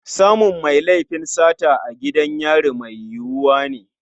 Samun mai laifin sata a gidan yari mai yiwuwa ne.